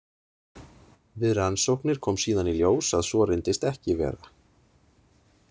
Við rannsóknir kom síðan í ljós að svo reyndist ekki vera.